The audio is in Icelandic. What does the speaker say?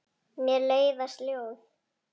Mér leiðast ljóð.